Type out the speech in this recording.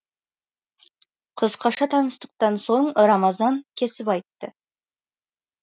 қысқаша таныстықтан соң рамазан кесіп айтты